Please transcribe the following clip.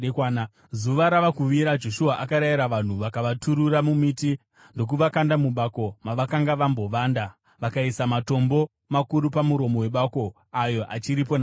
Zuva rava kuvira Joshua akarayira vanhu vakavaturura mumiti ndokuvakanda mubako mavakanga vambovanda. Vakaisa matombo makuru pamuromo webako, ayo achiripo nanhasi.